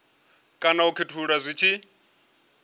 kana u khethulula zwi tshi